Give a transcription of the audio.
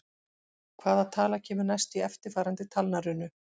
Hvaða tala kemur næst í eftirfarandi talnarunu?